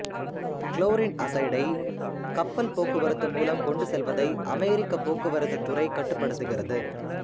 chlorine அசைடை கப்பல் போக்குவரத்து மூலம் கொண்டு செல்வதை அமெரிக்க போக்குவரத்துத் துறை கட்டுப்படுத்துகிறது